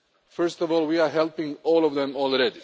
First of all, we are helping all of them already.